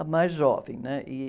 A mais jovem, né? E...